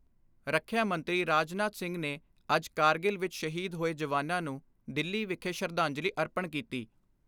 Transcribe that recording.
ਰੱਖਿਆ ਮੰਤਰੀ ਰਾਜਨਾਥ ਸਿੰਘ ਨੇ ਅੱਜ ਕਾਰਗਿਲ ਵਿਚ ਸ਼ਹੀਦ ਹੋਏ ਜਵਾਨਾਂ ਨੂੰ ਦਿੱਲੀ ਵਿਖੇ ਸ਼ਰਧਾਂਜਲੀ ਅਰਪਣ ਕੀਤੀ।